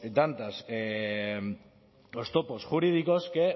tantas oztopos jurídicos que